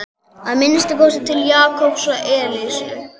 Að minnsta kosti til Jakobs og Elsu.